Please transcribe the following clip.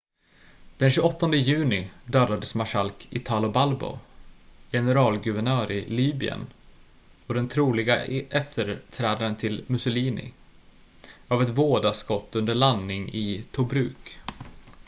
den 28 juni dödades marskalk italo balbo generalguvernör i libyen och den troliga efterträdaren till mussolini av ett vådaskott under landning i tobruk